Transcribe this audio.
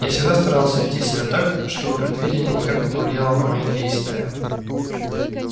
я всегда старался вести себя так чтобы предвидение никак не повлияло на мои действия